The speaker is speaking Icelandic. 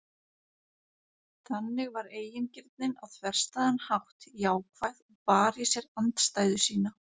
Þannig var eigingirnin á þverstæðan hátt jákvæð og bar í sér andstæðu sína.